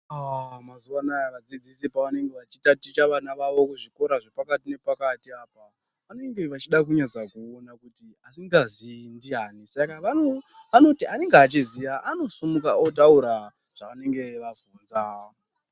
Mazuva anaya vadzidzisi pavanenge vachiticha ticha vana vavo kuzvikora zvepakati nepakati apo vanenge vachida kunyatsa kuona kuti asingazivi ndiyani saka vanenge vachiti anenge achiziva anosimukawo otaura zvavanenge vabvunza .